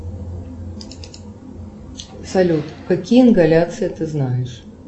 салют какие ингаляции ты знаешь